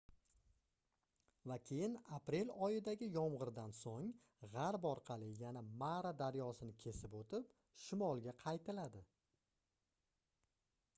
va keyin aprel oyidagi yomgʻirdan soʻng gʻarb orqali yana mara daryosini kesib oʻtib shimolga qaytiladi